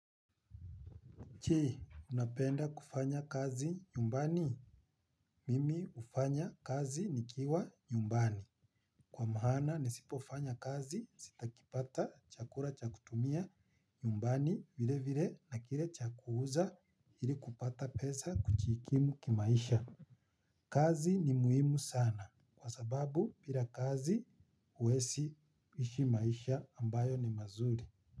Je, unapenda kufanya kazi nyumbani? Mimi hufanya kazi nikiwa nyumbani. Kwa maana nisipofanya kazi sitakipata chakula cha kutumia nyumbani vile vile na kile cha kuuza ili kupata pesa kujikimu kimaisha. Kazi ni muhimu sana kwa sababu bila kazi huwezi kuishi maisha ambayo ni mazuri.